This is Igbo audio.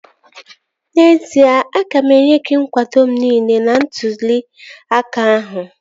N'ezie, aga m enye gị nkwado m niile n'ntụli aka ahụ